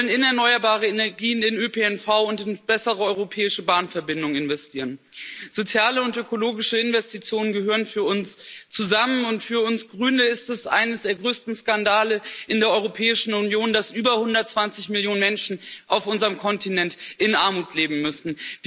Wir wollen in erneuerbare Energien, in den ÖPNV und in bessere europäische Bahnverbindungen investieren. Soziale und ökologische Investitionen gehören für uns zusammen, und für uns Grüne ist es einer der größten Skandale in der Europäischen Union, dass über 120 Millionen Menschen auf unserem Kontinent in Armut leben müssen.